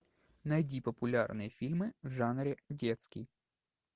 найти популярные фильмы в жанре детский